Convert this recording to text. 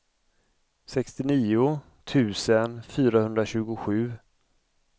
sextionio tusen fyrahundratjugosju